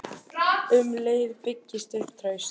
Um leið byggist upp traust.